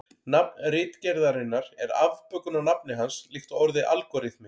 Nafn ritgerðarinnar er afbökun á nafni hans líkt og orðið algóritmi.